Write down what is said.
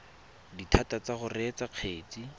dithata tsa go reetsa kgetse